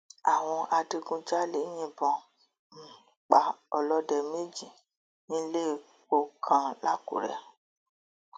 àwọn adigunjalè yìnbọn um pa ọlọdẹ méjì nílépọ kan làkúrẹ